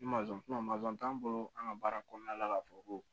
Ni t'anw bolo an ka baara kɔnɔna la ka fɔ ko